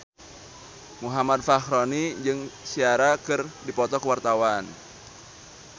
Muhammad Fachroni jeung Ciara keur dipoto ku wartawan